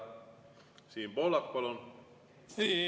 Siim Pohlak, palun!